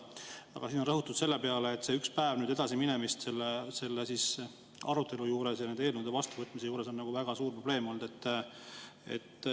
Aga siin on rõhutud selle peale, et see üks päev arutelu ja nende eelnõude vastuvõtmise edasi on väga suur probleem olnud.